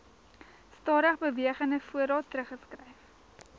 stadigbewegende voorraad teruggeskryf